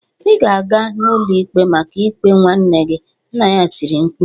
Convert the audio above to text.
"Ị ga-aga n'ụlọikpe maka ikpe nwanne gị" nna ya tiri mkpu